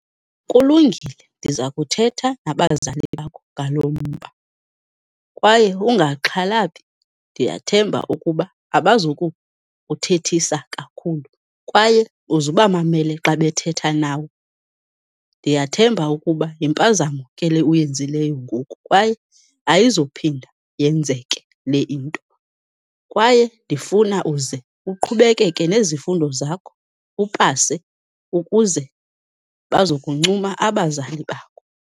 Kulungile, ndiza kuthetha nabazali bakho ngalo mba kwaye ungaxhalabi, ndiyathemba ukuba abazukuthethisa kakhulu, kwaye uzubamamele xa bethetha nawe. Ndiyathemba ukuba yimpazamo ke le uyenzileyo ngoku, kwaye ayizuphinda yenzeke le into, kwaye ndifuna uze uqhubekeke nezifundo zakho, upase ukuze baza kuncuma abazali bakho.